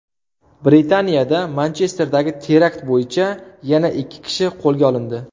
Britaniyada Manchesterdagi terakt bo‘yicha yana ikki kishi qo‘lga olindi.